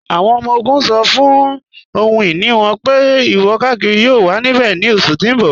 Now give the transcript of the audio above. Awọn ọmọ-ogun ṣọ́ fún ọhun-iní wọn pé ìwọ-kàkírí yóò wà níbẹ̀ ní oṣù tí n bọ.